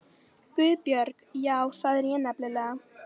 GUÐBJÖRG: Já, það er ég nefnilega.